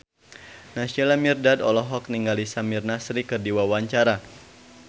Naysila Mirdad olohok ningali Samir Nasri keur diwawancara